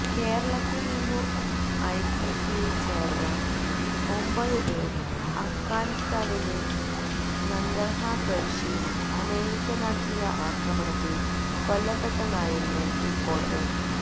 കേരളത്തില് നിന്നു ഐസിസില് ചേര്ന്ന ഒമ്പതു പേര് അഫ്ഗാനിലെ നങ്കര്ഹാര് പ്രവിശ്യയില് അമേരിക്ക നടത്തിയ ആക്രമണത്തില് കൊല്ലപ്പെട്ടെന്നായിരുന്നു റിപ്പോര്ട്ടുകള്